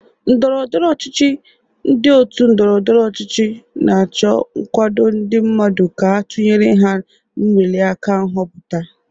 N'ndọrọndọrọ ọchịchị, ndị otu ndọrọndọrọ ọchịchị na-acho nkwado ndị mmadụ ka a tunyere ha n'nweliaka nhọpụta.